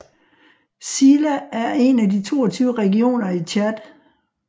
Sila er en af de 22 regioner i Tchad